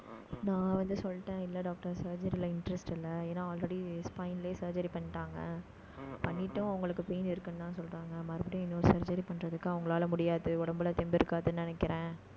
நான் வந்து சொல்லிட்டேன் இல்லை doctor surgery ல interest இல்லை. ஏன்னா already spin லயே surgery பண்ணிட்டாங்க பண்ணிட்டும் உங்களுக்கு pain இருக்குன்னுதான் சொல்றாங்க. மறுபடியும், இன்னொரு surgery பண்றதுக்கு அவங்களால முடியாது. உடம்புல தெம்பு இருக்காதுன்னு நினைக்கிறேன்